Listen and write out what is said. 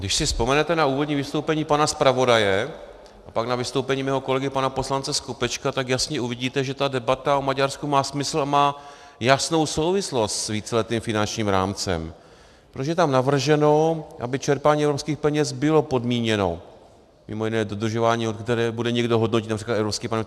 Když si vzpomenete na úvodní vystoupení pana zpravodaje a pak na vystoupení mého kolegy pana poslance Skopečka, tak jasně uvidíte, že ta debata o Maďarsku má smysl a má jasnou souvislost s víceletým finančním rámcem, protože je tam navrženo, aby čerpání evropských peněz bylo podmíněno mimo jiné dodržováním, které bude někdo hodnotit, například Evropský parlament.